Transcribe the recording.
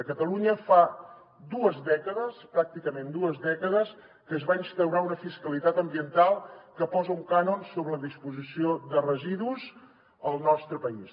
a catalunya fa dues dècades pràcticament dues dècades que es va instaurar una fiscalitat ambiental que posa un cànon sobre la disposició de residus al nostre país